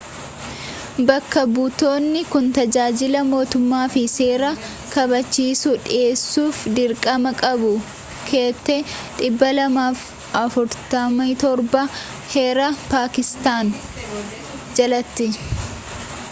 bakka butonni kun tajaajila mootummaa fi seera kabachiisu dhiheessuf dirqamaa qabu keeyyate 247 heera pakistaan jalati